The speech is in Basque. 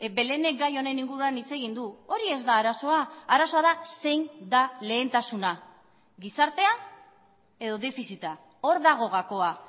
belének gai honen inguruan hitz egin du hori ez da arazoa arazoa da zein da lehentasuna gizartea edo defizita hor dago gakoa